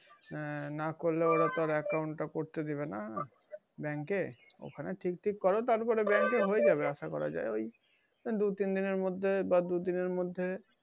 হ্যাঁ না করলেও ওরা তো আর account টা করতে দিবে না bank এ। হ্যাঁ ঠিক-টিক কর তারপরে bank এ হয়ে যাবে আশা করা যায়। ওই দুই তিনদিনের মধ্যে বা দু দিনের মধ্যে।